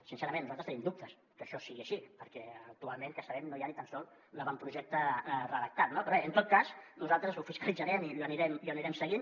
sincerament nosaltres tenim dubtes que això sigui així perquè actualment que sapiguem no hi ha ni tan sols l’avantprojecte redactat no però bé en tot cas nosaltres ho fiscalitzarem i ho anirem seguint